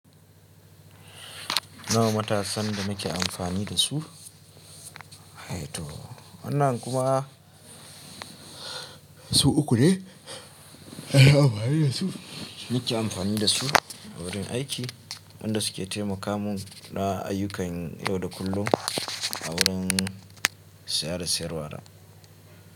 Nawa matasan da muke amfani da su, ai to wannan kuma su uku ne, anyi amfani da su, muke amfani da su a wurin aiki, wanda su ke taimaka mun da ayyukan yau da kullum a wurin saye da siyarwa.